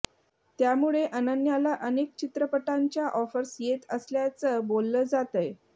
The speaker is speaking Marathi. त्यामुळे अनन्याला अनेक चित्रपटांच्या ऑफर्स येत असल्याचं बोललं जातंय